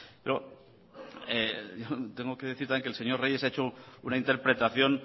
tengo que decir también que el señor reyes ha hecho una interpretación